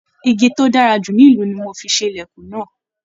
Ìgi to dára jù nílu ní mò fi ṣe ilẹkùn náà.